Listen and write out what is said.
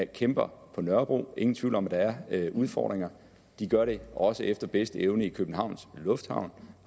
kæmper på nørrebro ingen tvivl om at der er udfordringer og de gør det også efter bedste evne i københavns lufthavn